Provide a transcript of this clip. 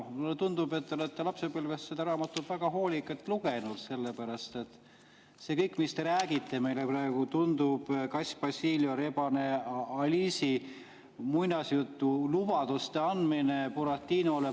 Mulle tundub, et te olete lapsepõlves seda raamatut väga hoolikalt lugenud, sellepärast et see kõik, mis te räägite meile praegu, tundub nagu kass Basilio ja rebane muinasjutulubaduste andmine Buratinole.